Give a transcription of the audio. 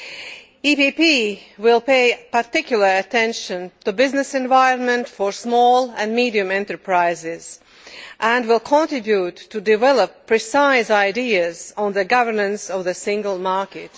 The EPP Group will pay particular attention to the business environment for small and medium sized enterprises and will contribute to developing precise ideas on the governance of the single market.